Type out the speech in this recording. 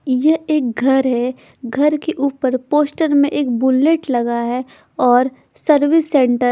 यह एक घर है घर के ऊपर पोस्टर में एक बुलेट लगा है और सर्विस सेंटर --